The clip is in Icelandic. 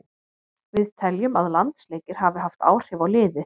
Við teljum að landsleikir hafi haft áhrif á liðið.